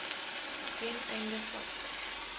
ten einde vas